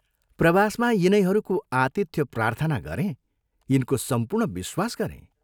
प्रवासमा यिनैहरूको आतिथ्यप्रार्थना गरेँ यिनको सम्पूर्ण विश्वास गरें।